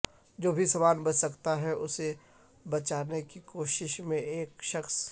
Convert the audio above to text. جو بھی سامان بچ سکتا ہے اسے بچانے کی کوشش میں ایک شخص